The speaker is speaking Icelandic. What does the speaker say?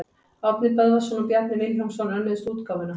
Árni Böðvarsson og Bjarni Vilhjálmsson önnuðust útgáfuna.